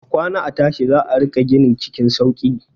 A kwana a tashi za a riƙa gini cikin sauki.